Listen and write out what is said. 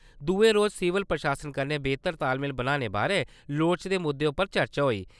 दुए रोज सिविल प्रशासन कन्नै बेह्तर तालमेल बनाने बारै लोड़चदे मुद्दे उप्पर चर्चा होई।